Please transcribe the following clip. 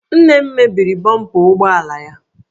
Nne m mebiri bọmpa ụgbọ ala ya